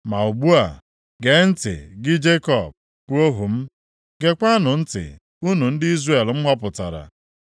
“Ma ugbu a, gee ntị gị Jekọb, bụ ohu m, geekwanụ ntị, unu ndị Izrel m họpụtara.